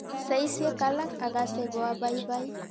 Saisyek alak akase ko apaipai.